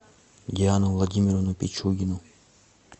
диану владимировну пичугину